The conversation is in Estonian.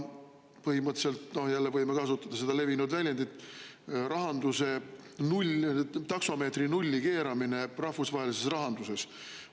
Põhimõtteliselt võime jälle kasutada seda levinud väljendit: nii-öelda taksomeetri nulli keeramine rahvusvahelises rahanduses.